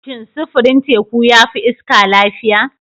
Shin sufurin teku ya fi iska lafiya?